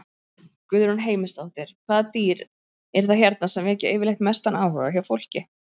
Guðrún Heimisdóttir: Hvaða dýr eru það hérna sem vekja yfirleitt mestan áhuga hjá fólki?